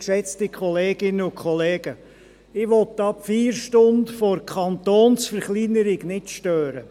Ich will die Feierstunde der Kantonsverkleinerung nicht stören.